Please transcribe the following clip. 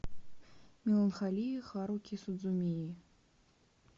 меланхолия харуки судзумии